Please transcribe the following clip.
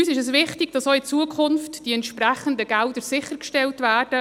Uns ist wichtig, dass auch in Zukunft die entsprechenden Gelder sichergestellt werden.